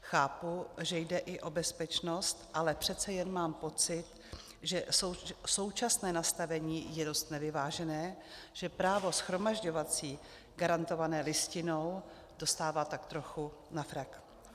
Chápu, že jde i o bezpečnost, ale přece jen mám pocit, že současné nastavení je dost nevyvážené, že právo shromažďovací garantované Listinou dostává tak trochu na frak.